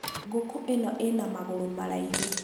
ngũkũ ĩno ĩna magũru maraihu.